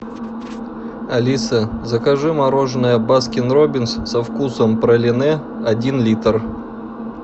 алиса закажи мороженое баскин роббинс со вкусом пралине один литр